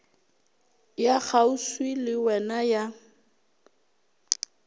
ya kgauswi le wena ya